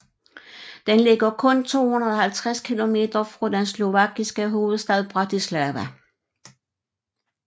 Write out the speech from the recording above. Den ligger kun 250 kilometer fra den slovakiske hovedstad Bratislava